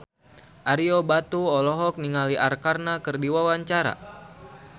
Ario Batu olohok ningali Arkarna keur diwawancara